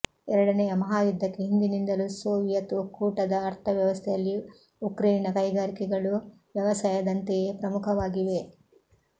ಎರಡನೆಯ ಮಹಾಯುದ್ಧಕ್ಕೆ ಹಿಂದಿನಿಂದಲೂ ಸೋವಿಯತ್ ಒಕ್ಕೂಟದ ಅರ್ಥ ವ್ಯವಸ್ಥೆಯಲ್ಲಿ ಉಕ್ರೇನಿನ ಕೈಗಾರಿಕೆಗಳೂ ವ್ಯವಸಾಯದಂತೆಯೇ ಪ್ರಮುಖವಾಗಿವೆ